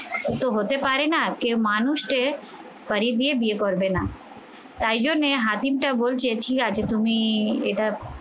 তো হতে পারে না কেউ মানুষকে পরী দিয়ে বিয়ে করবে না তাই জন্যে হাকিমটা বলছে ঠিক আছে তুমি এটা